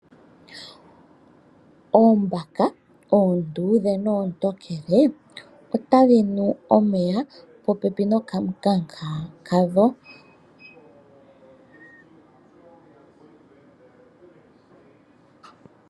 Oombaka oondudhe noontokele otadhi nu omeya popeni nokanunkaka kadho.